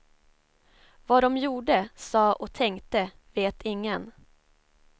Vad de gjorde, sa och tänkte vet ingen.